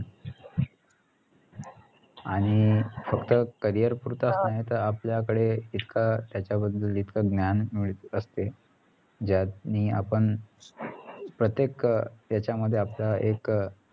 आणि फक्त carrier पुरताच नाही तर आपल्याकडे एका त्याच्या बद्दल जितकं ज्ञान मिळत असते ज्याने आपण प्रत्येक अं येच्यामध्ये आपला एक अं